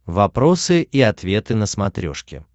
вопросы и ответы на смотрешке